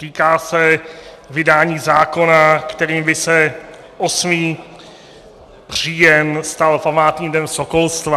Týká se vydání zákona, kterým by se 8. říjen stal památným dnem sokolstva.